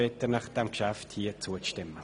Ich bitte Sie, dem Geschäft zuzustimmen.